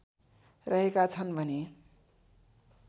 रहेका छन् भने